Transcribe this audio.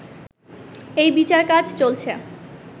এই বিচারকাজ চলছে